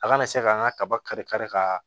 A kana se ka an ka kaba kari kari ka